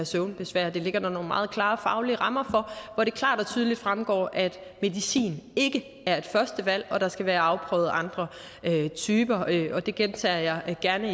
søvnbesvær det ligger der nogle meget klare faglige rammer for hvor det klart og tydeligt fremgår at medicin ikke er et første valg og at der skal være afprøvet andre typer det gentager jeg gerne